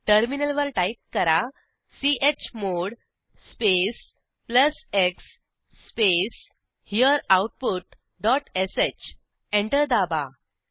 टर्मिनलवर टाईप करा chmod space plus x space हेरेआउटपुट डॉट श एंटर दाबा